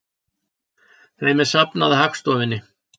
Þeim er safnað af Hagstofunni.